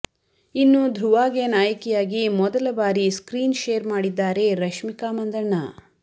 ಇನ್ನು ಧೃವಾಗೆ ನಾಯಕಿಯಾಗಿ ಮೊದಲ ಬಾರಿ ಸ್ಕ್ರೀನ್ ಶೇರ್ ಮಾಡಿದ್ದಾರೆ ರಶ್ಮಿಕಾ ಮಂದಣ್ಣ